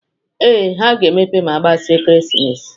Ee, ha ga-emepe ma agbasia ekeresimesi